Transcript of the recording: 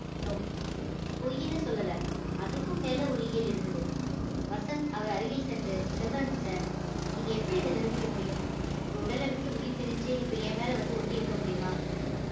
no பொய்ன்னு சொல்லல அதுக்கும் மேல ஒரு இயல் இருக்குது வசந்த் அவர் அருகில் சென்று செல்வரங்கம் sir நீங்க நீங்க எப்படி இதை நிரூபிக்க முடியும் உங்க உடலை விட்டு உயிர் பிரிஞ்சு இப்ப என் மேல வந்து ஒட்டி இருக்க முடியுமா